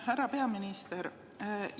Härra peaminister!